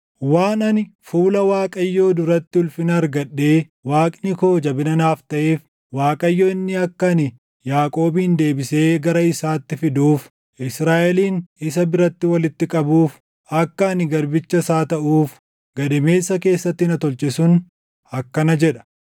Waan ani fuula Waaqayyoo duratti ulfina argadhee Waaqni koo jabina naa taʼeef, Waaqayyo inni akka ani Yaaqoobin deebisee gara isaatti fiduuf, Israaʼelin isa biratti walitti qabuuf, akka ani garbicha isaa taʼuuf gadameessa keessatti na tolche sun akkana jedha;